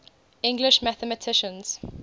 english mathematicians